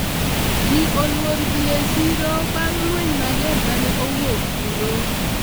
ji olwor dhi e siro bang' lweny mager mane owuok kuro